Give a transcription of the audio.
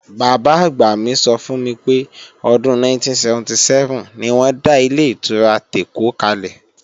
Bàbá-àgbà mi sọ fún mi pé, ọdún 1977 ni wọ́n dá Ilé-ìtura tèkó kalẹ̀